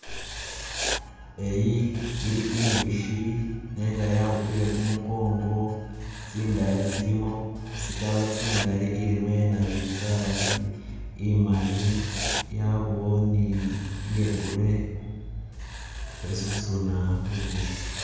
Eyi ili injushi nenga yakhupile kumukongo tsindaya tsilimo tsi color tsingali ilimo iye nabinzari imali yabawo ni iye grey ikhe susuna bubushi.